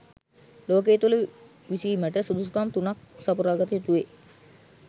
ලෝකය තුළ විසීමට සුදුසුකම් තුනක් සපුරාගත යුතුවෙයි.